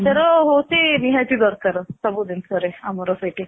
ମାନେ ଆଚାର ହଉଚି ନିହାତି ଦରକାର ସବୁ ଜିନିଷ ରେ ଆମର ସେଇଠି